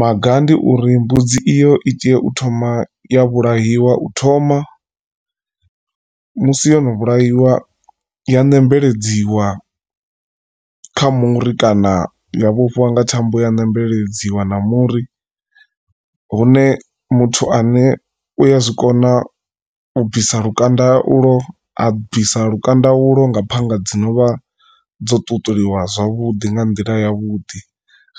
Maga ndi uri mbudzi iyo i tea u thoma ya vhulaiwa u thoma musi yono vhulaiwa ya ṋembeledziwa kha muri kana ya vhofhiwa nga thambo ya ṋembeledziwa na muri hune muthu ane u ya zwikona u bvisa lukanda u lwo abvisa lukanda ulo nga phanga dzi novha dzo ṱuṱuliwa zwavhuḓi nga nḓila yavhuḓi